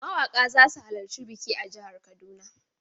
Mawaƙa za su halarci biki a jihar Kaduna.